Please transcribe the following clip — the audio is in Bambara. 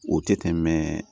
O tɛ tɛmɛ